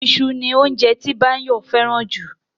Iṣu ni óunjẹ tí Báyọ̀ fẹ́ràn jù